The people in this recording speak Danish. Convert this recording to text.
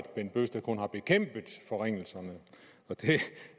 bent bøgsted kun har bekæmpet forringelserne og det